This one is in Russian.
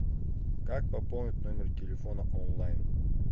как пополнить номер телефона онлайн